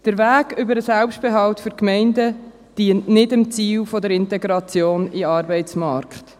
Der Weg über den Selbstbehalt für Gemeinden dient nicht dem Ziel der Integration in den Arbeitsmarkt.